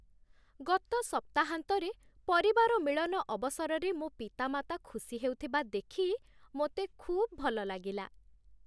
ଗତ ସପ୍ତାହାନ୍ତରେ, ପରିବାର ମିଳନ ଅବସରରେ ମୋ ପିତାମାତା ଖୁସି ହେଉଥିବା ଦେଖି ମୋତେ ଖୁବ୍ ଭଲ ଲାଗିଲା।